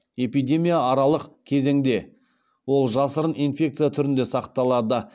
эпидемия аралық кезеңде ол жасырын инфекция түрінде сақталады